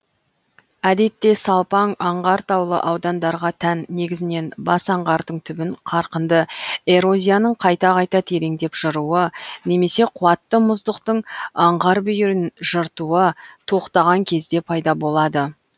әдетте салпаң аңғар таулы аудандарға тән негізінен бас аңғардың түбін қарқынды эрозияның қайта қайта тереңдеп жыруы немесе қуатты мұздықтың аңғар бүйірін жыртуы тоқтаған кезде пайда болады